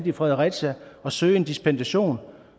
i fredericia at søge dispensation